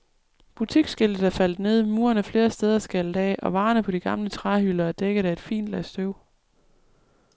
Butiksskiltet er faldet ned, muren er flere steder skaldet af, og varerne på de gamle træhylder er dækket af et fint lag støv.